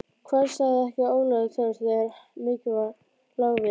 Hvað sagði ekki Ólafur Thors þegar mikið lá við